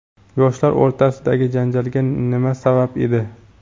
Yoshlar o‘rtasidagi janjalga nima sabab edi?.